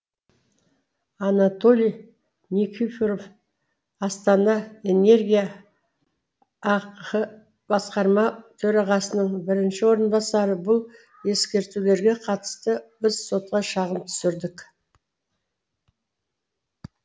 анатолий никифоров астана энергия ақ басқарма төрағасының бірінші орынбасары бұл ескертулерге қатысты біз сотқа шағым түсірдік